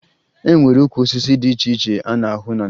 E nwere ukwu osisi dị iche iche a na-ahụ na Naịjirịa